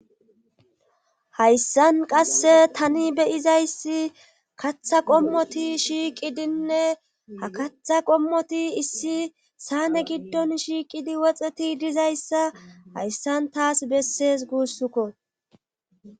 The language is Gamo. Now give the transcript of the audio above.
Hayssan qasse tani beyizayssi katha qommoti shiiqidinne ha katha qommoti issi saane giddon shiiqidi woxeti dizayssa hayssan taas bessees guussukko